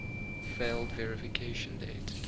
failed verification date